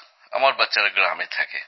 আমার বাচ্চারা গ্রামে থাকে